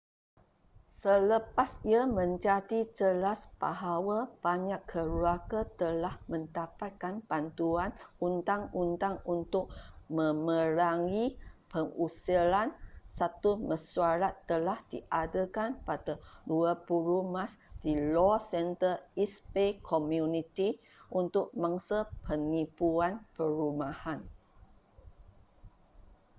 selepas ia menjadi jelas bahawa banyak keluarga telah mendapatkan bantuan undang-undang untuk memerangi pengusiran satu mesyuarat telah diadakan pada 20 mac di law center east bay community untuk mangsa penipuan perumahan